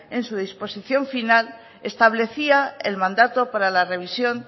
en su disposición final establecía el mandato para la revisión